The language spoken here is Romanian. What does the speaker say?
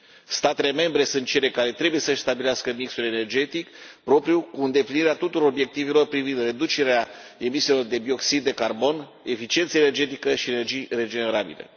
Statele membre sunt cele care trebuie să își stabilească mixul energetic propriu, cu îndeplinirea tuturor obiectivelor privind reducerea emisiilor de dioxid de carbon, eficiența energetică și energiile regenerabile.